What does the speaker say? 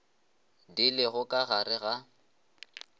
di lego ka gare ga